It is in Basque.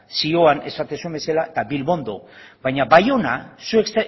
zioan esaten duzuen bezala eta bilbondo baina baiona zuek